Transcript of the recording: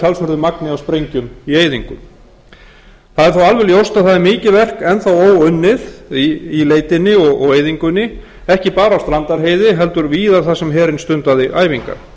talsverðu magni af sprengjum í eyðingu það er þó alveg ljóst að það er mikið verk enn óunnið í leitinni og eyðingunni ekki bara á strandarheiði heldur víðar þar sem herinn stundaði æfingar